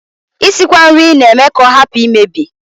Isikwa nri na-eme ka ọ hapụ imebi